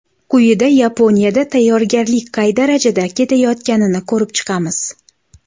Quyida Yaponiyada tayyorgarlik qay darajada ketayotganini ko‘rib chiqamiz.